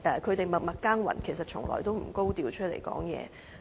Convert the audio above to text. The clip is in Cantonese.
他們默默耕耘，從來也不高調發聲。